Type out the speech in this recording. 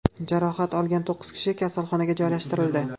Jarohat olgan to‘qqiz kishi kasalxonaga joylashtirildi.